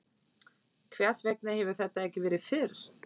Hvers vegna hefur þetta ekki verið fyrr?